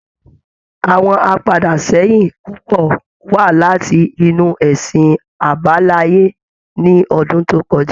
Àwọn apadà sẹ́yìn púpò wá láti inú ẹsìn àbáláyé ní ọdún tó kọjá